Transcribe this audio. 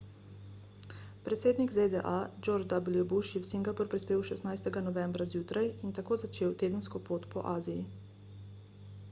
predsednik zda george w bush je v singapur prispel 16 novembra zjutraj in tako začel tedensko pot po aziji